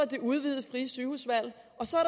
det udvidede frie sygehusvalg og så er